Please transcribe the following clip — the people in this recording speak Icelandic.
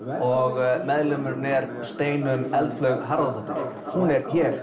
og meðlimurinn er Steinunn eldflaug Harðardóttir hún er hér